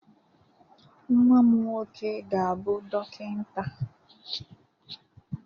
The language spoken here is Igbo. Nwa m nwoke ga-abụ dọkịta